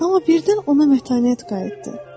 Amma birdən ona mətanət qayıtdı.